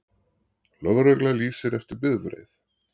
Lögregla lýsir eftir bifreið